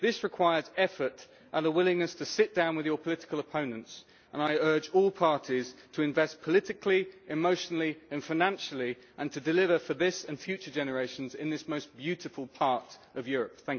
This requires effort and a willingness to sit down with your political opponents and I urge all parties to invest politically, emotionally and financially, and to deliver for this and future generations in this most beautiful part of Europe.